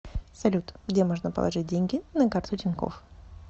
салют где можно положить деньги на карту тинькофф